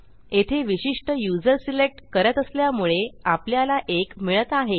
येथे विशिष्ट user select करत असल्यामुळे आपल्याला 1मिळत आहे